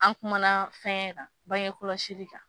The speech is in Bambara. An kumana fɛnkɛ kan, bangekɔlɔsi kan.